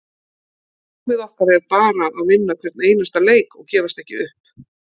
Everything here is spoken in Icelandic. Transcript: Markmið okkar er bara að vinna hvern einasta leik og gefast ekki upp.